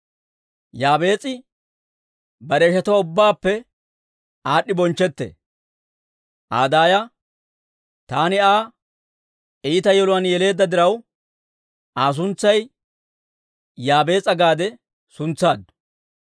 Yaabees'i bare ishatuwaa ubbaappe aad'd'i bonchchetee. Aa daaya, «Taani Aa iita yeluwaan yeleedda diraw, Aa suntsay Yaabees'a» gaade suntsaaddu.